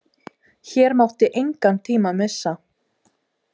Hér mátti engan tíma missa.